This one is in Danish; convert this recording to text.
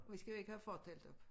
Vi skal jo ikke have fortelt op